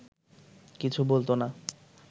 কিছু বলত না